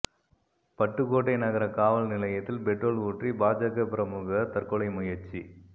பட்டுக்கோட்டை நகர காவல் நிலையத்தில் பெட்ரோல் ஊற்றி பாஜக பிரமுகர் தற்கொலை முயற்சி